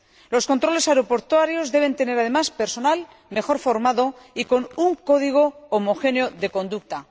Los controles aeroportuarios deben tener, además, personal mejor formado y con un código homogéneo de conducta.